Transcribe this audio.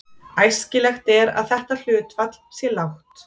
Æskilegt er að þetta hlutfall sé lágt.